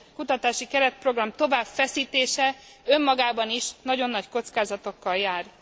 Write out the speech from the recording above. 7. kutatási keretprogram továbbfeszítése önmagában is nagyon nagy kockázatokkal jár.